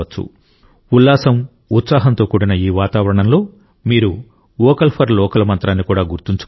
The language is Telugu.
ఉల్లాసం ఉత్సాహంతో కూడిన ఈ వాతావరణంలో మీరు వోకల్ ఫర్ లోకల్ మంత్రాన్ని కూడా గుర్తుంచుకోవాలి